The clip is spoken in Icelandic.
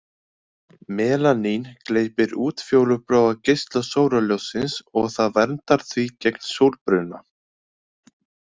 Melanín gleypir útfjólubláa geisla sólarljóssins og það verndar því gegn sólbruna.